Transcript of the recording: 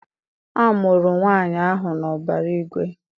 A mụrụ nwaanyị ahụ n'ọbara igwe.